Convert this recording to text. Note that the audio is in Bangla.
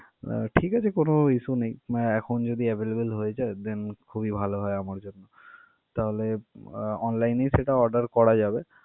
নাহ ঠিক আছে, কোন issue নেই। আহ এখন যদি available হয়ে যায় then খুবই ভালো হয় আমার জন্য। তাহলে আহ online এই সেটা order করা যাবে।